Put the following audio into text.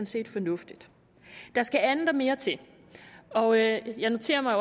set fornuftigt der skal andet og mere til og jeg jeg noterer mig